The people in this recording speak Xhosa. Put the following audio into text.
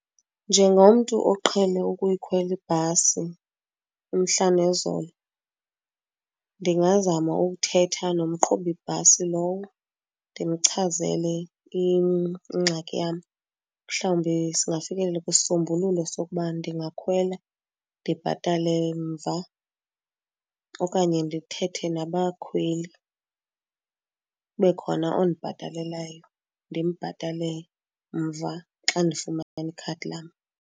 Njengomntu oqhele ukuyikhwela ibhasi umhla nezolo ndingazama ukuthetha nomqhubi bhasi lowo ndimchazele ingxaki yam mhlawumbi singafikelela kwisisombululo sokuba ndingakhwela ndibhatale mva. Okanye ndithethe nabakhweli kube khona ondibhatalelayo ndimbhatale mva xa ndifumane ikhadi lam.